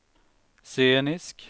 scenisk